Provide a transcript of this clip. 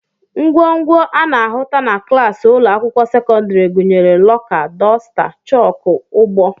Ngwongwo a na-ahụta na klaasị ụlọakwụkwọ sekọndịrị gụnyere lọka, dosta, chọọkụ, ugbo